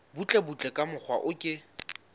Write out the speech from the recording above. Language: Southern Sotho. butlebutle ka mokgwa o ke